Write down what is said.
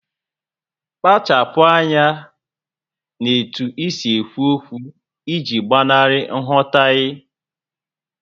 Kpachapu anya n'etu isi ekwu okwu iji gbanarị nghọtahie